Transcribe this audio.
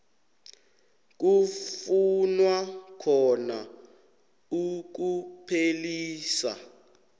kufunwa khona ukuphelisa